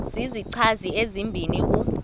zizichazi ezibini u